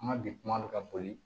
An ka bi kuma bɛ ka boli